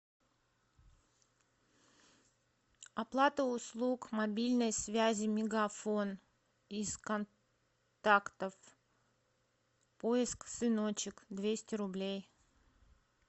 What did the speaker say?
оплата услуг мобильной связи мегафон из контактов поиск сыночек двести рублей